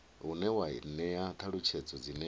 une wa ṅea ṱhalutshedzo dzine